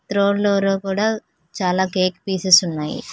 రోన్ రోలో కూడా చాలా కేక్ పీసెస్ ఉన్నాయి.